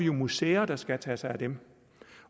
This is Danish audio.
har museer der skal tage sig af dem